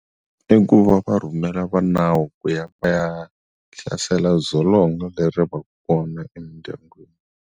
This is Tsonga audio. I ku va va rhumela va nawu ku ya va ya hlasela dzolonga leri va ka kona emindyangwini.